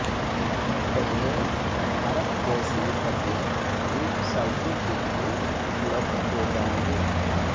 ग़ज़लें भारत जैसे पते वेबसाइटों के लिए उपलब्ध हो जाएँगे